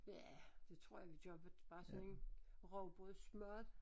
Ja det tror jeg vi gør bare sådan en rugbrødsmad